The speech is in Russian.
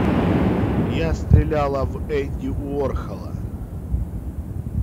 я стреляла в энди уорхола